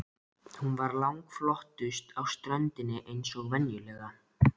Hún var langflottust á ströndinni eins og venjulega.